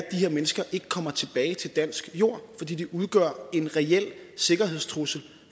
her mennesker ikke kommer tilbage til dansk jord fordi de udgør en reel sikkerhedstrussel